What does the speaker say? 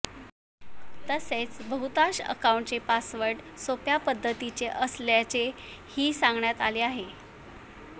तसेच बहुतांश अकाउंट्सचे पासवर्ड सोप्या पद्धतीचे असल्याचे ही सांगण्यात आले आहे